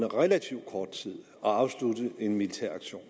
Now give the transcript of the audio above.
relativt kort tid at afslutte en militær aktion